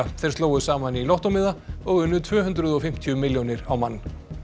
þeir slógu saman í lottómiða og unnu tvö hundruð og fimmtíu milljónir á mann